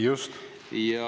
Just!